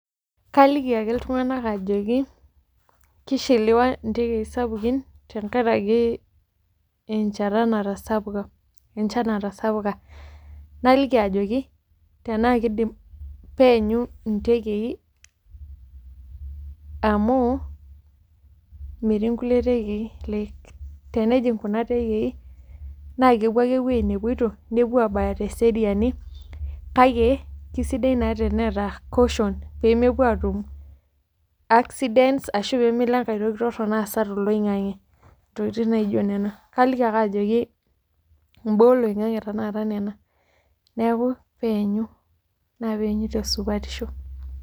Kaaliki ake iltung'anak ajoki keishiliwa intekei sapukin tenkaraki enchan natasapuka naliki ajoki tenaa keidim peenyu intekei amu metii kulie tekei like tenejing kuna tekei naa kepuo ake ewuei nepoito nepuo aaabaya teseriani kake keeisidai naa teneeta caution peemepuo aatum accidents ashuu peemelo enkae toki torono aasa toloingange intokitin naijio nena kaliki ake ajoki peeenyu naa peenyu tesupatisho.